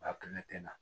ne tɛ na